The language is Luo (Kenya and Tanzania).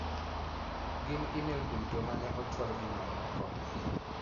Gin imelduto mane ochwal gi mamoko.